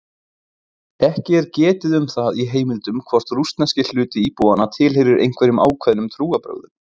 Ekki er getið um það í heimildum hvort rússneski hluti íbúanna tilheyrir einhverjum ákveðnum trúarbrögðum.